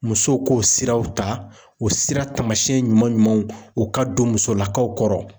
Musow k'o siraw ta o sira tamasɛn ɲuman ɲumanw o ka don musolakaw kɔrɔ